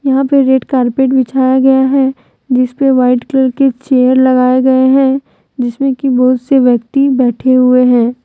यहां पे red carpet बिछाया गया है जिसपे वाइट कलर के चेयर लगाए गए हैं जिसमें कि बहुत से व्यक्ति बैठे हुए हैं।